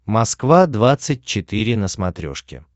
москва двадцать четыре на смотрешке